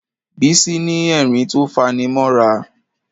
Bísí ní ẹ̀rín tó faní mọ́ra.